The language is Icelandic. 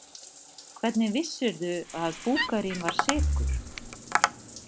Hvernig vissirðu að Búkarín var sekur?